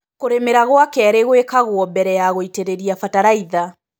Kũrĩmĩra gwa kerĩ gwekagwo mbere ya gũitĩrĩria batalaiza.